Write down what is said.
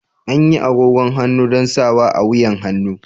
Anyi agogon hannu don sawa a wuyan hannu.